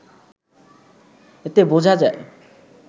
এতে বোঝা যায়